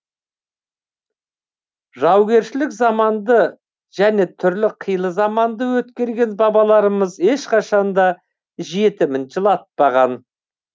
жаугершілік заманды және түрлі қилы заманды өткерген бабаларымыз ешқашанда жетімін жылатпаған